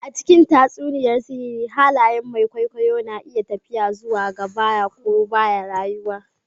A cikin tatsuniyar sihiri haliyen mai kwaikwayo na iya tafiya zuwa gaɓa ko ɓaya rayuwa ne.